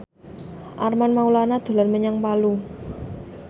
Armand Maulana dolan menyang Palu